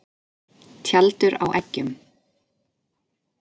Tjaldur á eggjum.